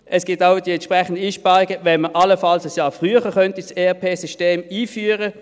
Es gibt auch die entsprechenden Einsparungen, wenn man das ERP-System allenfalls ein Jahr früher einführen könnte.